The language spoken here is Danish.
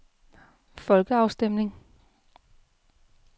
folkeafstemning